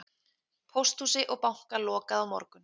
Pósthúsi og banka lokað á morgun